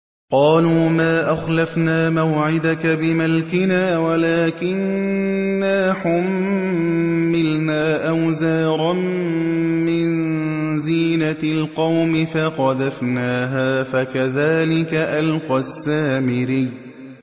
قَالُوا مَا أَخْلَفْنَا مَوْعِدَكَ بِمَلْكِنَا وَلَٰكِنَّا حُمِّلْنَا أَوْزَارًا مِّن زِينَةِ الْقَوْمِ فَقَذَفْنَاهَا فَكَذَٰلِكَ أَلْقَى السَّامِرِيُّ